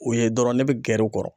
O ye dɔrɔn ne be gɛrɛ u kɔrɔ.